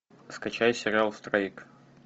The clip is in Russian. скачай сериал страйк